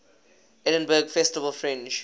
edinburgh festival fringe